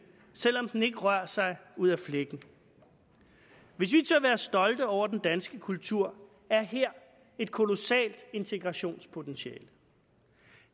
selv om den ikke rører sig ud af flækken hvis vi tør være stolte over den danske kultur er her et kolossalt integrationspotentiale